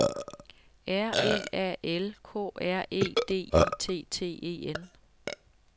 R E A L K R E D I T T E N